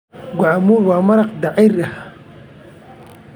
Guacamole waa maraq dhir ah.